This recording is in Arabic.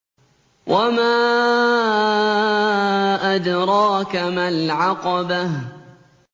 وَمَا أَدْرَاكَ مَا الْعَقَبَةُ